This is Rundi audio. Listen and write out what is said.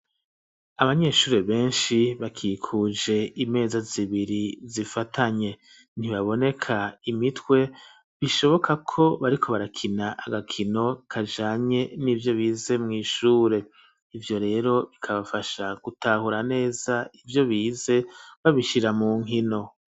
Abanyeshure benshi, bakikuje imeza zibiri zifatanye; ntibaboneka imitwe, bishoboka ko bariko barakina agakino kajanye n'ivyo bize mw'ishure, ivyo rero bikabafasha gutahura neza ivyo bize, babishira mu nkino.